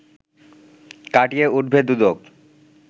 কাটিয়ে উঠবে দুদক